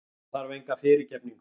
Ég þarf enga fyrirgefningu.